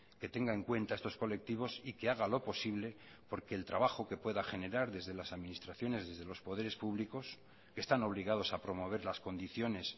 que tenga en cuenta estos colectivos y que haga lo posible porque el trabajo que pueda generar desde las administraciones desde los poderes públicos están obligados a promover las condiciones